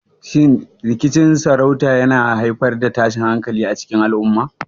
Shin rikicin sarauta yana haifar da tashin hankali a cikin al'umma?